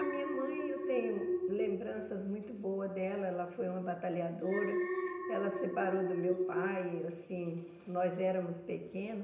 A minha mãe, eu tenho lembranças muito boas dela, ela foi uma batalhadora, ela separou do meu pai, assim, nós éramos pequenos.